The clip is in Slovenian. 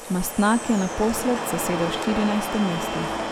Mastnak je naposled zasedel štirinajsto mesto.